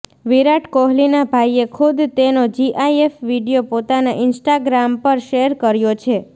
વિરાટ કોહલીના ભાઈએ ખુદ તેનો જીઆઈએફ વીડિયો પોતાના ઇન્સ્ટાગ્રામ પર શેર કર્યો છે